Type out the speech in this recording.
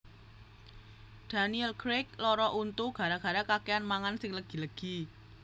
Daniel Craig lara untu gara gara kakean mangan sing legi legi